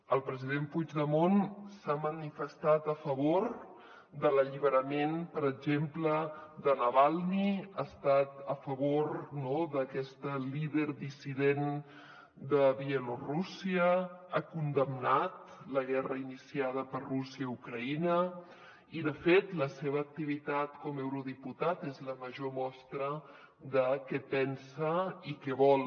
el president puigdemont s’ha manifestat a favor de l’alliberament per exemple de navalni ha estat a favor d’aquesta líder dissident de bielorússia ha condemnat la guerra iniciada per rússia a ucraïna i de fet la seva activitat com a eurodiputat és la major mostra de què pensa i què vol